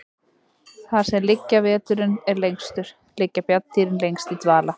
Þar sem veturinn er lengstur liggja bjarndýrin lengst í dvala.